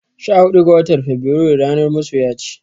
Sha huɗu ga watar feburairu ranar masoya ce.